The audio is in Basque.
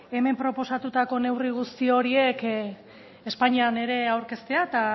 hemen proposatutako neurri guzti horiek espainian ere aurkeztea eta